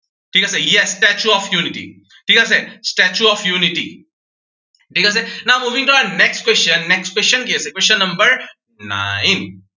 ঠিক আছে yes, statue of unity ঠিক আছে, statue of unity ঠিক আছে, now moving to our next question, next question কি আছে, question number nine